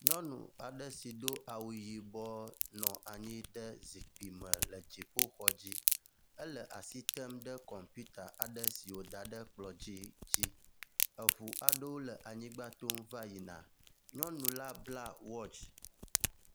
Nyɔnu aɖe si do awu yibɔ nɔ anyi ɖe zikpui me le dziƒoxɔ dzi. Ele asi tem ɖe kɔmpita aɖe si woda ɖe kplɔ dzi dzi. Eŋu aɖewo le anyigba tom va yina. Nyɔnu la bla watsi.